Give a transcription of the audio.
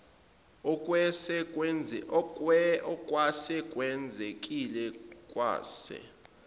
okwase kwenzekile kwase